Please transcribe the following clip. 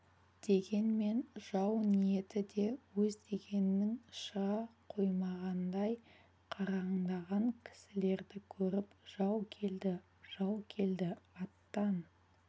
дегенмен жау ниеті де өз дегенінен шыға қоймағандай қараңдаған кісілерді көріп жау келді жау келді аттан